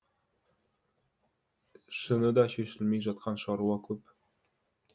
шыныда шешілмей жатқан шаруа көп